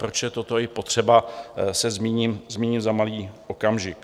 Proč je toto i potřeba, se zmíním za malý okamžik.